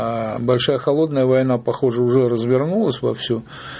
большая холодная война похоже уже развернулась во всем